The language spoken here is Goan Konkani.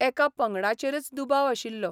एका पंगडाचेरच दुबाव आशिल्लो.